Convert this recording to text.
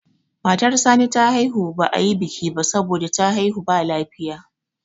matar Sani ta haihu ba a yi biki ba saboda ta haihu ba lafiya